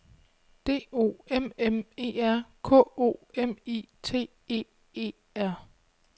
D O M M E R K O M I T E E R